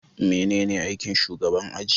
Manene aikin shugaban aji?